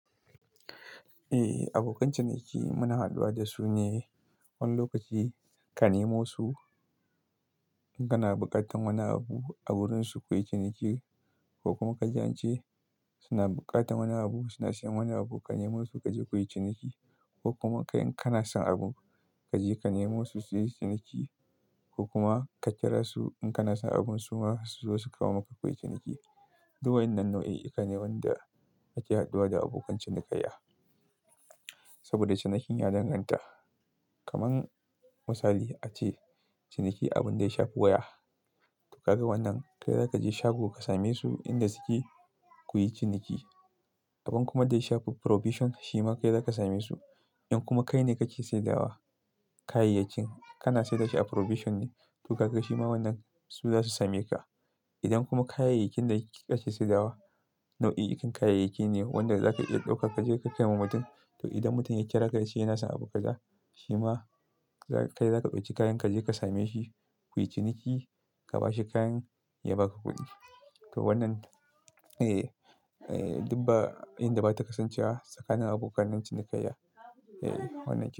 Eh abokan ciniki muna haduwa da su ne wani lokaci ka nemo su in kana buƙatar wani abu a wurin su kawai ciniki ko kuma ka ji an ce suna buƙatar wani abu suna siyan wani abu ka nemo su kaje kuyi ciniki ko kuma in kana son abu kaje ka nemo su suyi ciniki ko kuma ka kira su in kana son abun su ma su zo su kawo maka kuyi ciniki. Duk wan nan nau'i ita ne wanda ake haduwa da abokan cinikayya. Saboda cinikin ya danganta, kaman misali ace ciniki abun da ya shafi waya to kaga wannan kai zaka je shago ka same su inda suke kuyi ciniki. Abun kuma da ya shafi probation shi ma kai zaka same su. In kuma kai ne kake saidawa kayayyakin kana saidashi a probation ne to kaga shi ma wannan su zasu same ka. Idan kuma kayayakin da kike kake saidawa nau'in kayayaki ne wanda zaka iya dauka kaje ka kai ma mutum to idan mutum ya kira ka ya ce yana son abu kaza shi ma kai zaka ɗauki kayan kaje ka same shi kuyi ciniki ka bashi kayan ya baka kuɗi. To wannan, eh, duba inda bata kasance a tsakanin abokan cinikayya. Eeh wannan yake.